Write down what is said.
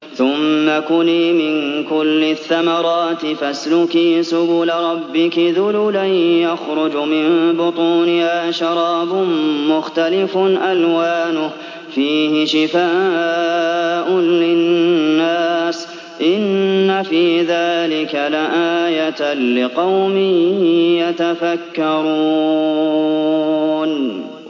ثُمَّ كُلِي مِن كُلِّ الثَّمَرَاتِ فَاسْلُكِي سُبُلَ رَبِّكِ ذُلُلًا ۚ يَخْرُجُ مِن بُطُونِهَا شَرَابٌ مُّخْتَلِفٌ أَلْوَانُهُ فِيهِ شِفَاءٌ لِّلنَّاسِ ۗ إِنَّ فِي ذَٰلِكَ لَآيَةً لِّقَوْمٍ يَتَفَكَّرُونَ